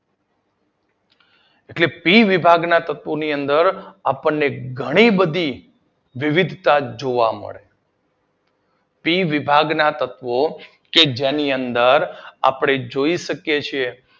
જે પી વિભાગના તત્વોની અંદર આપડને ઘણી બધી વિવિધતા જોવા મળે પી વિભાગના તત્વો કે જેની અંદર આપડે જોઈ શકીએ છીએ તે